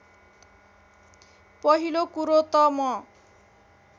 पहिलो कुरो त म